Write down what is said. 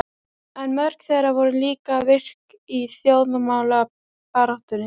En mörg þeirra voru líka virk í þjóðmálabaráttunni.